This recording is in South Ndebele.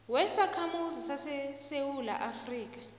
wesakhamuzi sesewula afrika